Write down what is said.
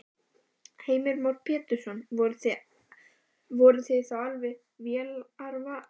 Heimir Már Pétursson: Voruð þið þá alveg vélarvana?